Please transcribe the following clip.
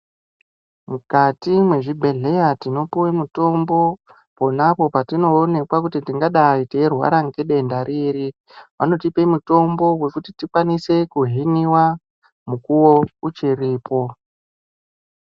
Mukati me zvibhedhleya tino puwe mutombo ponapo patino onekwa kuti tingadai tei rwara nge denda riri vanotipe mutombo wekuti tikwanise ku hiniwa mukuwo uchiripo.